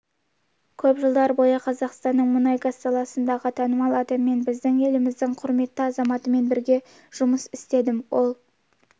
көп жылдар бойы қазақстанның мұнай-газ саласындағы танымал адаммен біздің еліміздің құрметті азаматымен бірге жұмыс істедім ол